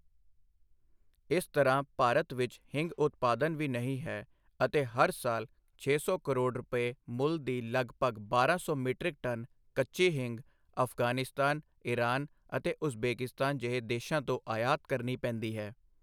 ਇਸ ਤਰ੍ਹਾਂ, ਭਾਰਤ ਵਿੱਚ ਹਿੰਗ ਉਤਪਾਦਨ ਵੀ ਨਹੀਂ ਹੈ ਅਤੇ ਹਰ ਸਾਲ ਛੇ ਸੌ ਕਰੋੜ ਰੁਪਏ ਮੁੱਲ ਦੀ ਲਗਭਗ ਬਾਰਾਂ ਸੌ ਮੀਟ੍ਰਿਕ ਟਨ ਕੱਚੀ ਹਿੰਗ ਅਫ਼ਗ਼ਾਨਿਸਤਾਨ, ਇਰਾਨ ਅਤੇ ਉਜ਼ਬੇਕਿਸਤਾਨ ਜਿਹੇ ਦੇਸ਼ਾਂ ਤੋਂ ਆਯਾਤ ਕਰਨੀ ਪੈਂਦੀ ਹੈ।